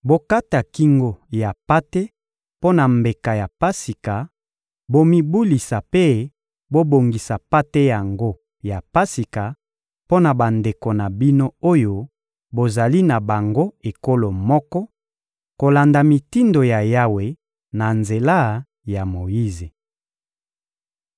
Bokata kingo ya mpate mpo na mbeka ya Pasika, bomibulisa mpe bobongisa mpate yango ya Pasika mpo na bandeko na bino oyo bozali na bango ekolo moko, kolanda mitindo ya Yawe na nzela ya Moyize.